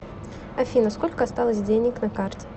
афина сколько осталось денег на карте